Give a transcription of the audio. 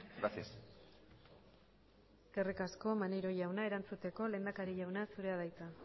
gracias eskerrik asko maneiro jauna erantzuteko lehendakari jauna zurea da hitza